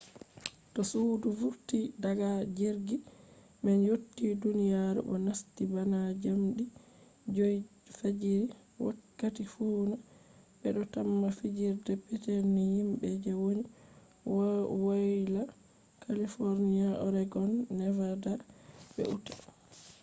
to sudu vurti daga jirgi man yotti duniyaru bo nasti bana jamdi 5 fajiri wakkati fuuna be do tamma fijirde petel ni himbe je woni woyla california oregon nevada be utah